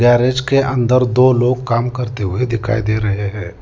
Garage के अंदर दो लोग काम करते हुए दिखाई दे रहे हैं।